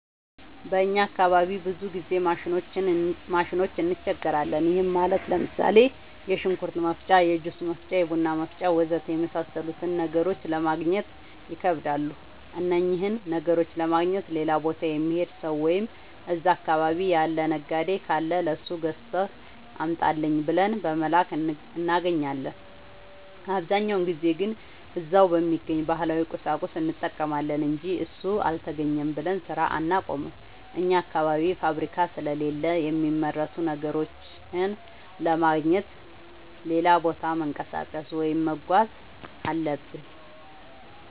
በእኛ አካባቢ ብዙ ጊዜ ማሽኖች እንቸገራለን። ይህም ማለት ለምሳሌ፦ የሽንኩርት መፍጫ፣ የጁስ መፍጫ፣ የቡና መፍጫ.... ወዘተ የመሣሠሉትን ነገሮች ለማገግኘት ይከብዳሉ። እነኝህን ነገሮች ለማግኘት ሌላ ቦታ የሚሄድ ሠው ወይም እዛ አካባቢ ያለ ነጋዴ ካለ ለሱ ገዝተህ አምጣልኝ ብለን በመላክ እናገኛለን። አብዛኛውን ጊዜ ግን እዛው በሚገኝ ባህላዊ ቁሳቁስ እንጠቀማለን አንጂ እሱ አልተገኘም ብለን ስራ አናቆምም። አኛ አካባቢ ፋብሪካ ስለሌለ የሚመረቱ ነገሮችን ለማግኘት ሌላ ቦታ መንቀሳቀስ ወይም መጓዝ አለብን።